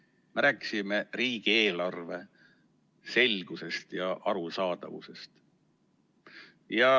Me rääkisime riigieelarve selgusest ja arusaadavusest.